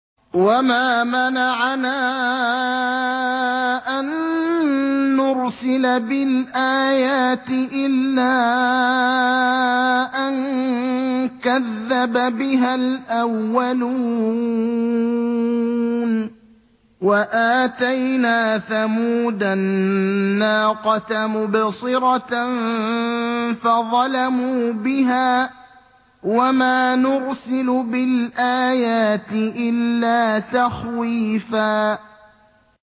وَمَا مَنَعَنَا أَن نُّرْسِلَ بِالْآيَاتِ إِلَّا أَن كَذَّبَ بِهَا الْأَوَّلُونَ ۚ وَآتَيْنَا ثَمُودَ النَّاقَةَ مُبْصِرَةً فَظَلَمُوا بِهَا ۚ وَمَا نُرْسِلُ بِالْآيَاتِ إِلَّا تَخْوِيفًا